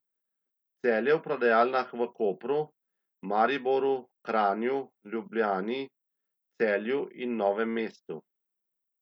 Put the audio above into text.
Celje v prodajalnah v Kopru, Mariboru, Kranju, Ljubljani, Celju in Novem mestu.